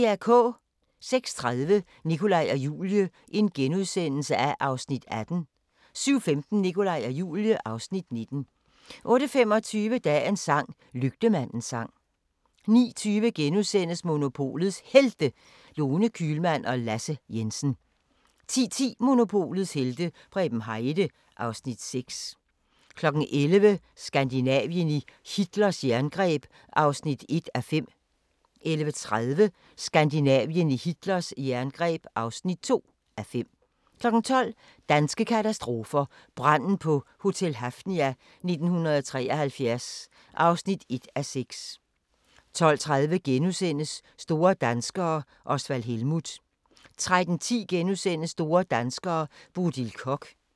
06:30: Nikolaj og Julie (Afs. 18)* 07:15: Nikolaj og Julie (Afs. 19) 08:25: Dagens sang: Lygtemandens sang 09:20: Monopolets Helte – Lone Kühlmann og Lasse Jensen (Afs. 9)* 10:10: Monopolets helte - Preben Heide (Afs. 6) 11:00: Skandinavien i Hitlers jerngreb (1:5) 11:30: Skandinavien i Hitlers jerngreb (2:5) 12:00: Danske katastrofer – Branden på Hotel Hafnia 1973 (1:6) 12:30: Store danskere - Osvald Helmuth * 13:10: Store danskere - Bodil Koch *